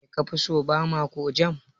Me kafi so, Bama ko Jam?